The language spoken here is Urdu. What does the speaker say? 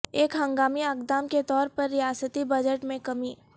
ایک ہنگامی اقدام کے طور پر ریاستی بجٹ میں کمی